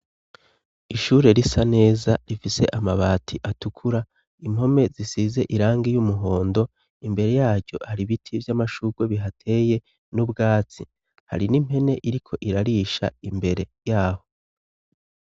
Ishure risa neza rifise amabati atukura impome zisize irangi ry'umuhondo imbere yaryo hari ibiti vy'amashugwe bihateye n'ubwatsi hari n'impene iriko irarisha imbere yaho.